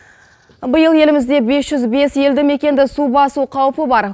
биыл елімізде бес жүз бес елді мекенді су басу қаупі бар